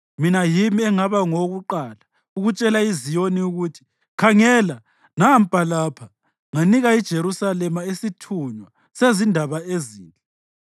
Mina yimi engaba ngowokuqala ukutshela iZiyoni ukuthi, ‘Khangela, nampa lapha!’ Nganika iJerusalema isithunywa sezindaba ezinhle.